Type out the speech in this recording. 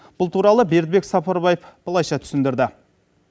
бұл туралы бердібек сапарбаев былайша түсіндірді